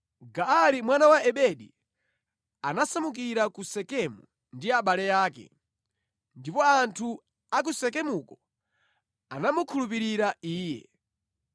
Gaali mwana wa Ebedi anasamukira ku Sekemu ndi abale ake, ndipo anthu a ku Sekemuko anamukhulupirira iye.